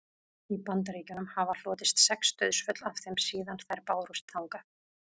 í bandaríkjunum hafa hlotist sex dauðsföll af þeim síðan þær bárust þangað